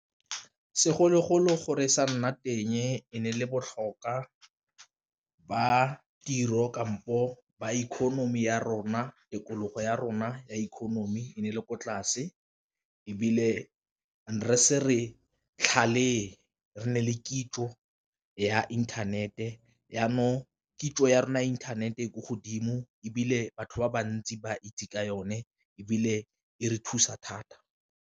Segologolo gore sa nna teng e ne e le botlhokwa ba tiro kampo ba economy ya rona tikologo ya rona ya economy e ne e le ko tlase, ebile r se re tlhalefe re nne le kitso ya inthanete ya mo kitso ya rona internet e ko godimo, ebile batho ba bantsi ba itse ka yone ebile e re thusa thata.